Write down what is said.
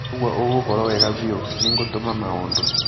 ũguo ũgũkorwo wega biũ. Nĩngũtũma maũndũ